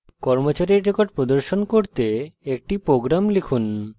নির্দেশিত কাজ হিসাবে কর্মচারীর records প্রদর্শন করতে একটি program লিখুন